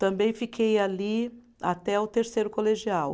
Também fiquei ali até o terceiro colegial.